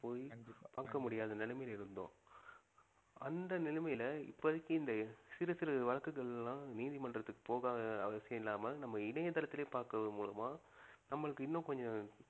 போயி பாக்க முடியாத நிலைமையில இருந்தோம் அந்த நிலைமையில் இப்போதைக்கு இந்த சிறு சிறு வழக்குகள்லாம் நீதிமன்றத்திற்கு போகாத அவசியம் இல்லாம நம்ம இணையதளத்திலே பார்க்கிறது மூலமா நம்மளுக்கு இன்னும் கொஞ்சம்